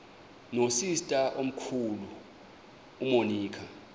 nosister omkhulu umonica